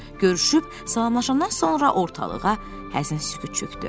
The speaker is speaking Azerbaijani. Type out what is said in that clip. Görüşüb, salamlaşandan sonra ortalığa həzin sükut çökdü.